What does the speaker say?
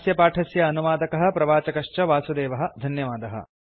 अस्य पाठस्य अनुवादकः प्रवाचकश्च वासुदेवः धन्यवादः